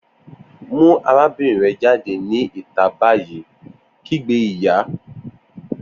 Mu arabinrin rẹ jade ni ita bayi! kigbe iya.